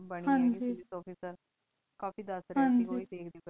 ਬਾਨੀ office ਕਾਫੀ ਦਸ ਰਹੀ ਸੇ ਓਹੀ ਦਖ਼ ਰਹੀ ਸੇ ਹਨ ਜੀ